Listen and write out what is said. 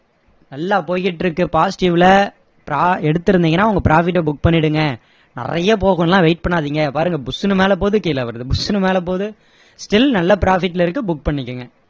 நல்லா போயிகிட்டிருக்கு positive ல எடுத்திருந்தீங்கன்னா உங்க profit அ book பண்ணிடுங்க நிறைய போகும்னு எல்லாம் wait பண்ணாதிங்க பாருங்க புஸ்ன்னு மேல போகுது கீழ வருது புஸ்ன்னு மேல போகுது still நல்ல profit ல இருக்கு book பண்ணிக்கோங்க